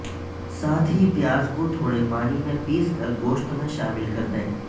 ساتھ ہی پیاز کو تھوڑے پانی میں پیس کر گوشت میں شامل کر دیں